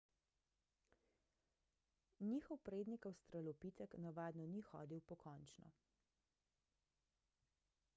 njihov prednik avstralopitek navadno ni hodil pokončno